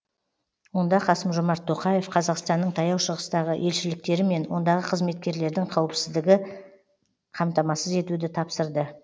онда қасым жомарт тоқаев қазақстанның таяу шығыстағы елшіліктері мен ондағы қызметкерлердің қауіпсіздігін қамтамасыз етуді тапсырды